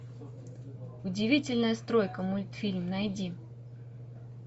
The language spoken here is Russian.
удивительная стройка мультфильм найди